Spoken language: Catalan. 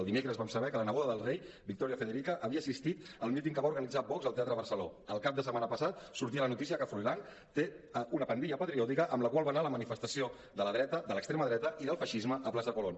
el dimecres vam saber que la neboda del rei victoria federica havia assistit al míting que va organitzar vox al teatre barceló el cap de setmana passat sortia la notícia que froilán té una pandilla patriòtica amb la qual va anar a la manifestació de la dreta de l’extrema dreta i del feixisme a plaça colón